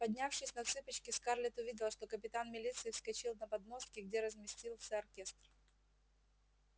поднявшись на цыпочки скарлетт увидела что капитан милиции вскочил на подмостки где разместился оркестр